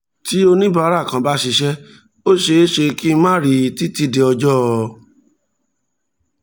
tí oníbàárà kan bá ṣíṣẹ́ ó ṣeé ṣe kí n má rí i títí di ọjọ́